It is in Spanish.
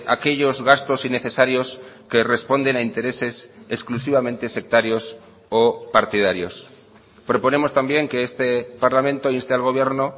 aquellos gastos innecesarios que responden a intereses exclusivamente sectarios o partidarios proponemos también que este parlamento inste al gobierno